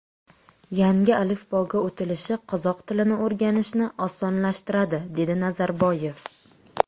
Yangi alifboga o‘tilishi qozoq tilini o‘rganishni osonlashtiradi”, dedi Nazarboyev.